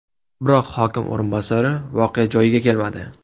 Biroq hokim o‘rinbosari voqea joyiga kelmadi.